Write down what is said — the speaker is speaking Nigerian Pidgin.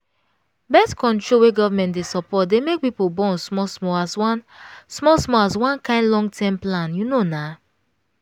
birth-control wey government dey support dey make pipo born small smallas one small smallas one kain long-term plan you know na